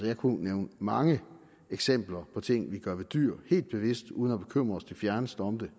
jeg kunne nævne mange eksempler på ting vi gør ved dyr helt bevidst uden næsten at bekymre os det fjerneste om det